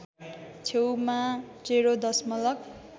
छेउमा ० दशमलव